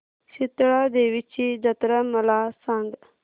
शितळा देवीची जत्रा मला सांग